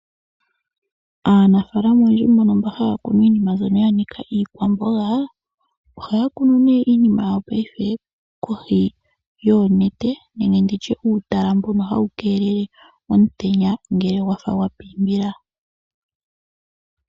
Aanafaalama oyendji mbono mba haya kunu iinima mbyono ya nika iikwamboga, ohaya kunu nee iinima yawo paife kohi yoonete nenge nditye uutala mbono hawu keelele omutenya ngele ogwafa gwa pimbila.